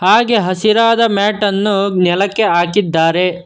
ಹಾಗೆ ಹಸಿರಾದ ಮ್ಯಾಟನ್ನು ನೆಲಕ್ಕೆ ಹಾಕಿದ್ದಾರೆ.